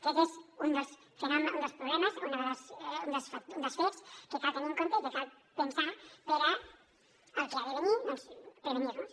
aquest és un dels fenòmens un dels problemes un dels fets que cal tenir en compte i que cal pensar per al que ha de venir doncs prevenir nos